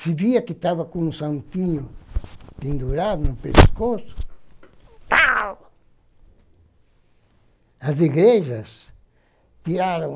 Se via que estava com um santinho pendurado no pescoço,. Tau! As igrejas tiraram.